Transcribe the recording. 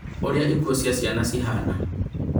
Ũrĩa ikuũ cia ciana cihana